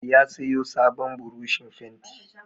Ya sayo sabon burushin fenti.